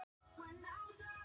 Hér eru engir Spánverjar.